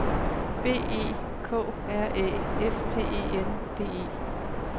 B E K R Æ F T E N D E